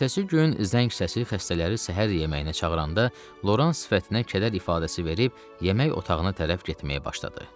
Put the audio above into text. Ertəsi gün zəng səsi xəstələri səhər yeməyinə çağıranda Loran sifətinə kədər ifadəsi verib yemək otağına tərəf getməyə başladı.